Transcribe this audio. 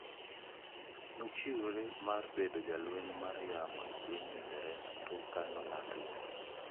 Nochiwre mar bedo jalweny mar yamo e piny uingereza tok ka noland lweny.